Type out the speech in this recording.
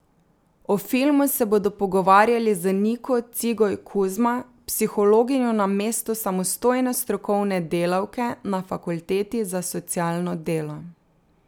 O filmu se bodo pogovarjali z Niko Cigoj Kuzma, psihologinjo na mestu samostojne strokovne delavke na Fakulteti za socialno delo.